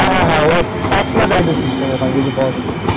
হ্যাঁ হ্যাঁ হ্যাঁ পাঁচলা driving system যে পড়াশোনা